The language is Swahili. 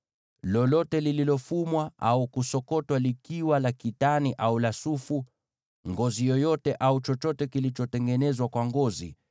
lolote lililofumwa au kusokotwa likiwa la kitani au la sufu, ngozi yoyote au chochote kilichotengenezwa kwa ngozi,